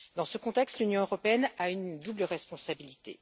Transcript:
Dans ce contexte, l'Union européenne a une double responsabilité.